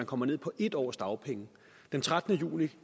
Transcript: kommer ned på en års dagpenge den trettende juni